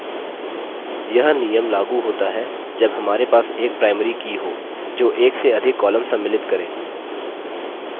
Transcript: यह नियम लागू होता है जब हमारे पास एक primary की हो जो एक से अधिक column सम्मिलित key